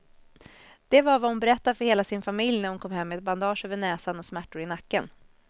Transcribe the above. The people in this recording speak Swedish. Det var vad hon berättade för hela sin familj när hon kom hem med ett bandage över näsan och smärtor i nacken.